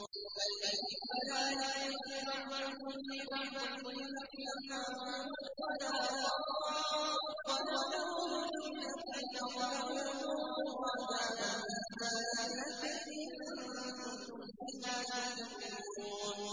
فَالْيَوْمَ لَا يَمْلِكُ بَعْضُكُمْ لِبَعْضٍ نَّفْعًا وَلَا ضَرًّا وَنَقُولُ لِلَّذِينَ ظَلَمُوا ذُوقُوا عَذَابَ النَّارِ الَّتِي كُنتُم بِهَا تُكَذِّبُونَ